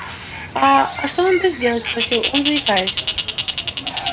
а а что надо сделать спросил он заикаясь